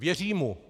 Věří mu.